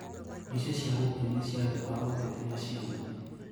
Mbica cia gũkenia cia andũ a ũteti na ciana.